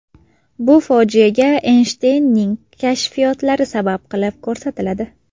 Bu fojiaga Eynshteynning kashfiyotlari sabab qilib ko‘rsatiladi.